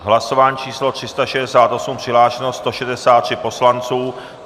Hlasování číslo 368, přihlášeno 163 poslanců.